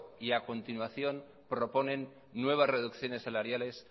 y a continuación proponen nuevas reducciones salariales